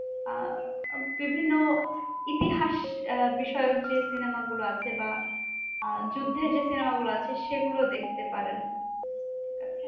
আহ বিভিন্ন ইতিহাস বিষয়ক যে, cinema গুলো আছে বা আহ যুদ্ধের যে cinema গুলো আছে সেগুলো দেখতে পারেন। আচ্ছা